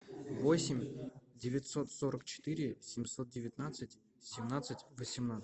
восемь девятьсот сорок четыре семьсот девятнадцать семнадцать восемнадцать